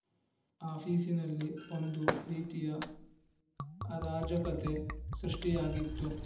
ಆಫೀಸಿನಲ್ಲಿ ಒಂದು ರೀತಿಯ ಅರಾಜಕತೆ ಸೃಷ್ಟಿಯಾಗಿತ್ತು